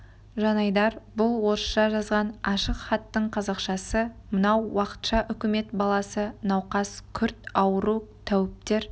жанайдар бұл орысша жазған ашық хаттың қазақшасы мынау уақытша үкімет баласы науқас күрт ауру тәуіптер